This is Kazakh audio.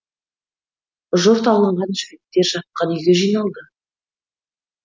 жұрт алынған жігіттер жатқан үйге жиналды